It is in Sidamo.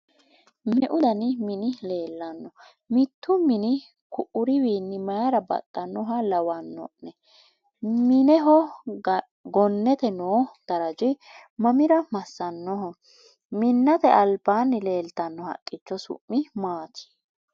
me'u danni minni leelano? mittu minni ku'uriwiinni mayiira baxinnoha lawano'ne? minneho gonnete noo darraji mamira masanoho? minnate alibaani leelitanno haqicho su'mi maati?